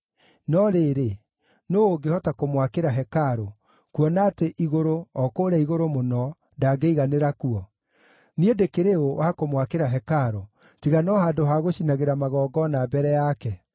No rĩrĩ, nũũ ũngĩhota kũmwakĩra hekarũ, kuona atĩ igũrũ, o kũrĩa igũrũ mũno, ndangĩiganĩra kuo? Niĩ ndĩkĩrĩ ũ wa kũmwakĩra hekarũ, tiga no handũ ha gũcinagĩra magongona mbere yake?